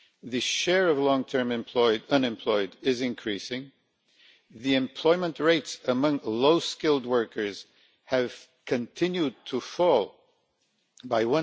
The share of long term unemployed is increasing, employment rates among low skilled workers have continued to fall by